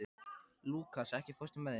Lúkas, ekki fórstu með þeim?